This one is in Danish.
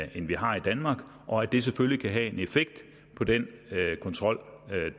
vi har i danmark og at det selvfølgelig kan have en effekt på den kontrol